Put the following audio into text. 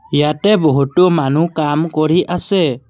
ইয়াতে বহুতো মানুহ কাম কৰি আছে।